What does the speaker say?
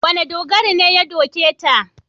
Wane dogari ne ya doke ta?